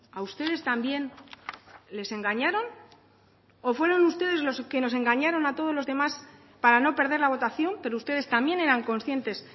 a ustedes también les engañaron o fueron ustedes los que nos engañaron a todos los demás para no perder la votación pero ustedes también eran conscientes